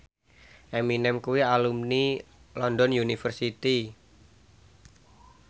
Eminem kuwi alumni London University